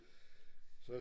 Så